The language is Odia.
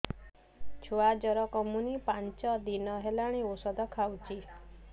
ଛୁଆ ଜର କମୁନି ପାଞ୍ଚ ଦିନ ହେଲାଣି ଔଷଧ ଖାଉଛି